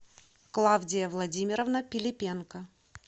клавдия владимировна пилипенко